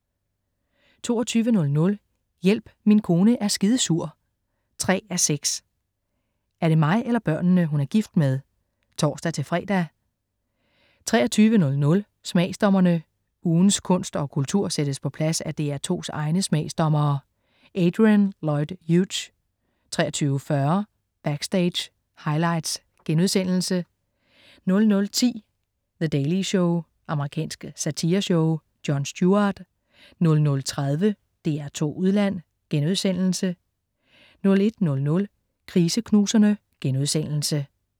22.00 Hjælp, min kone er skidesur 3:6. Er det mig eller børnene, hun er gift med? (tors-fre) 23.00 Smagsdommerne. Ugens kunst og kultur sættes på plads af DR2's egne smagsdommere. Adrian Lloyd Hughes 23.40 Backstage: Highlights* 00.10 The Daily Show. Amerikansk satireshow. Jon Stewart 00.30 DR2 Udland* 01.00 Kriseknuserne*